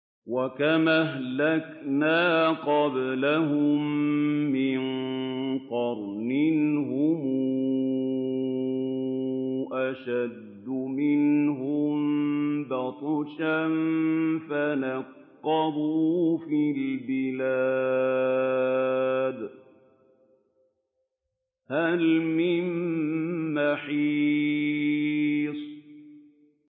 وَكَمْ أَهْلَكْنَا قَبْلَهُم مِّن قَرْنٍ هُمْ أَشَدُّ مِنْهُم بَطْشًا فَنَقَّبُوا فِي الْبِلَادِ هَلْ مِن مَّحِيصٍ